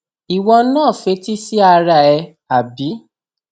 ìwọ náà fetí sí ara ẹ àbí